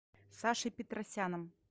сашей петросяном